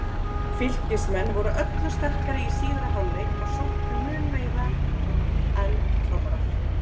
Fylkismenn voru öllu sterkari í síðari hálfleik og sóttu mun meira en FRAMARAR.